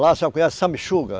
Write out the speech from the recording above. Lá a senhora conhece sanguessuga.